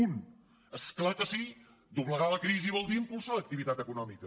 un és clar que sí doble·gar la crisi vol dir impulsar l’activitat econòmica